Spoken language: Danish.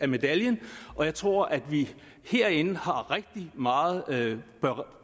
medaljen og jeg tror at vi herinde bør